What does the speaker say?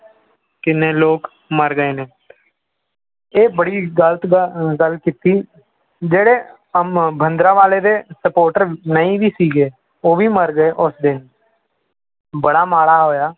ਕਿੰਨੇ ਲੋਕ ਮਰ ਗਏ ਨੇ ਇਹ ਬੜੀ ਗ਼ਲਤ ਗ~ ਗੱਲ ਕੀਤੀ, ਜਿਹੜੇ ਭਿੰਡਰਾਂ ਵਾਲੇ ਦੇ supporter ਨਹੀਂ ਵੀ ਸੀਗੇ ਉਹ ਵੀ ਮਰ ਗਏ ਉਸ ਦਿਨ ਬੜਾ ਮਾੜਾ ਹੋਇਆ।